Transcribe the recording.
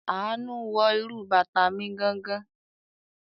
Àánú wọ irú bàtà mi gangan.